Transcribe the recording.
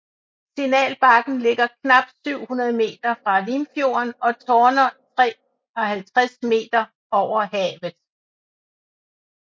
Signalbakken ligger knap 700 m fra Limfjorden og tårner 53 m over havet